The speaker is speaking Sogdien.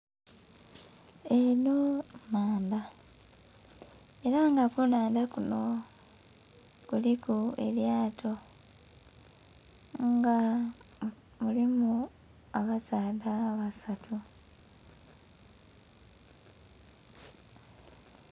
Enho nnhanadha era nga ku nhandha kunho kuliku elyato nga mulimu abasaadha basatu.